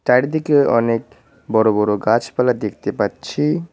চারিদিকে অনেক বড় বড় গাছপালা দেখতে পাচ্ছি।